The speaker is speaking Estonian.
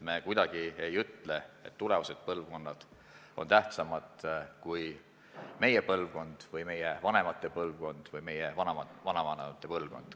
Me ei ütle, et tulevased põlvkonnad on tähtsamad kui meie põlvkond või meie vanemate põlvkond või meie vanavanemate põlvkond.